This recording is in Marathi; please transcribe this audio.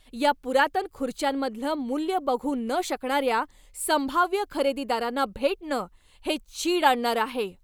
या पुरातन खुर्च्यांमधलं मूल्य बघू न शकणाऱ्या संभाव्य खरेदीदारांना भेटणं हे चीड आणणारं आहे.